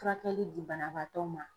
Furakɛli di banabaatɔ ma.